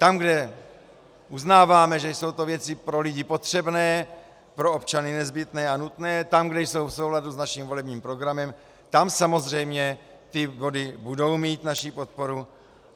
Tam, kde uznáváme, že to jsou věci pro lidi potřebné, pro občany nezbytné a nutné, tam, kde jsou v souladu s naším volebním programem, tam samozřejmě ty body budou mít naši podporu.